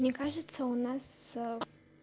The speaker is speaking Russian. мне кажется у нас